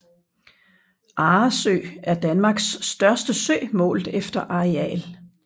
Arresø er Danmarks største sø målt efter areal